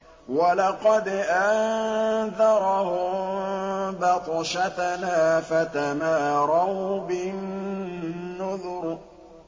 وَلَقَدْ أَنذَرَهُم بَطْشَتَنَا فَتَمَارَوْا بِالنُّذُرِ